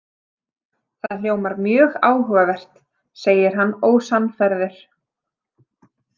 Það hljómar mjög áhugavert, segir hann ósannfærður.